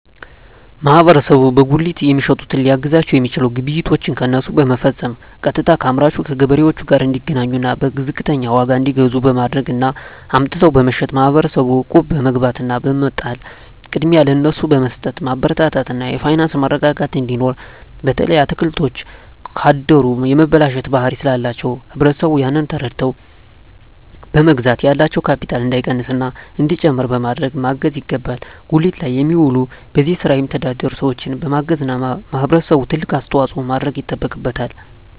ማህበረሰቡ በጉሊት የሚሸጡትን ሊያግዛቸዉ የሚችለዉ ግብይቶችን ከነሱ በመፈፀም ቀጥታከአምራቹ ከገበሬዎቹ ጋር እንዲገናኙና በዝቅተኛ ዋጋ እንዲገዙ በማድረግ እና አምጥተዉ በመሸጥ ማህበረሰቡ እቁብ በመግባት እና በመጣል ቅድሚያ ለነሱ በመስጠትማበረታታት እና የፋይናንስ መረጋጋት እንዲኖር በተለይ አትክልቶች ካደሩ የመበላሸት ባህሪ ስላላቸዉ ህብረተሰቡ ያንን ተረድተዉ በመግዛት ያላቸዉ ካቢታል እንዳይቀንስና እንዲጨምር በማድረግ ማገዝ ይገባል ጉሊት ላይ የሚዉሉ በዚህ ስራ የሚተዳደሩ ሰዎችን በማገዝና ህብረተሰቡ ትልቅ አስተዋፅኦ ማድረግ ይጠበቅበታል